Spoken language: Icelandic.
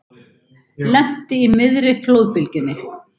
Lenti í miðri flóðbylgjunni